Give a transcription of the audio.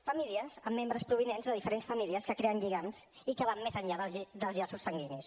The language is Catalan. famílies amb membres provinents de diferents famílies que creen lligams i que van més enllà dels llaços sanguinis